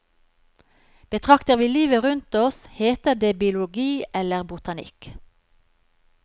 Betrakter vi livet rundt oss, heter det biologi eller botanikk.